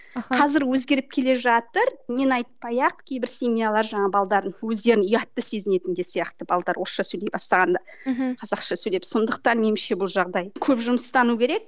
аха қазір өзгеріп келе жатыр мен айтпай ақ кейбір семьялар жаңағы өздерін ұятты сезенетін де сияқты балдары орысша сөйлей бастағанда мхм қазақша сөйлеп сондықтан меніңше бұл жағдай көп жұмыстану керек